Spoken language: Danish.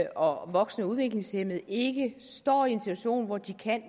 og voksne og udviklingshæmmede ikke står i en situation hvor de kan